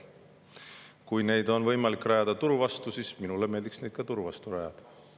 Kui neid oleks võimalik rajada turu vastu, siis minule meeldiks ka, et neid turu vastu rajataks.